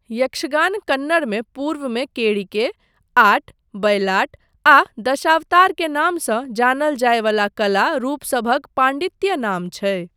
यक्षगान कन्नड़मे पूर्वमे केढिके, आट, बयलाट, आ दशावतार के नामसँ जानल जाय वला कला रूपसभक पाण्डित्य नाम छै।